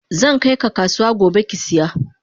Zankai ka kasuwa gobe kisiya.